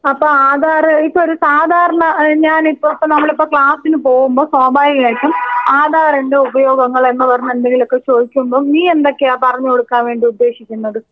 അപ്പോ ആധാറ് എനിക്കൊരു സാധാരണ ഞാനിപ്പോ ഇപ്പോ നമ്മളിപ്പോ ക്ലാസിന് പോകുമ്പോ സ്വാഭാവികമായിട്ടും ആധാറിന്റെ ഉപയോഗങ്ങൾ എന്ന് പറഞ്ഞ് എന്തെങ്കിലുമൊക്കെ ചോദിക്കുമ്പോ നീ എന്തൊക്കെയാണ് പറഞ്ഞുകൊടുക്കാൻ വേണ്ടി ഉദ്ദേശിക്കുന്നത്?